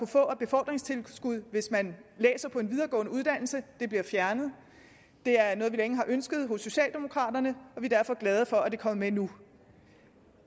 få af befordringstilskud hvis man læser på en videregående uddannelse bliver fjernet det er noget vi længe har ønsket hos socialdemokraterne og vi er derfor glade for at det kommer med nu